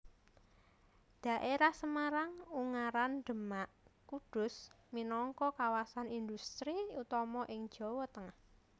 Dhaérah Semarang Ungaran Demak Kudus minangka kawasan indhustri utama ing Jawa Tengah